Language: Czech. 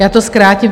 Já to zkrátím.